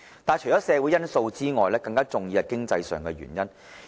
但是，除了社會因素外，更重要的是經濟上的原因。